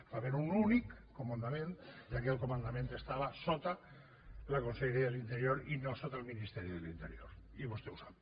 va haver hi un únic comandament i aquell comandament estava sota la conselleria d’interior i no sota el ministeri de l’interior i vostè ho sap